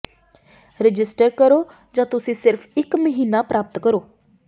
register ਕਰੋ ਜਾਂ ਤੁਸੀਂ ਸਿਰਫ ਇੱਕ ਮਹੀਨਾ ਪ੍ਰਾਪਤ ਕਰੋ